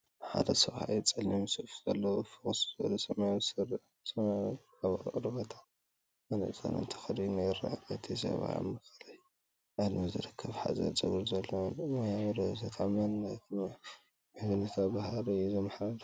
ሓደ ሰብኣይ ጸሊም ሱፍ ዘለዎ፣ ፍኹስ ዝበለ ሰማያዊ ስረ፡ ሰማያዊ ካራቫታን መነጽርን ተኸዲኑ ይርአ። እቲ ሰብኣይ ኣብ ማእከላይ ዕድመ ዝርከብን ሓጺር ጸጉሪ ዘለዎን እዩ። ሞያዊ፡ ርእሰ ተኣማንነትን ምሕዝነታዊን ባህሪ እዩ ዘመሓላልፍ።